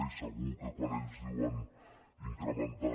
i segur que quan ells diuen incrementar